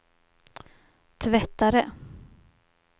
tvättare